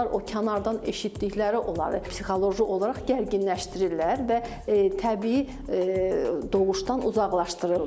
Analar o kənardan eşitdikləri onları psixoloji olaraq gərginləşdirirlər və təbii doğuşdan uzaqlaşdırırlar.